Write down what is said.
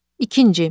İkinci.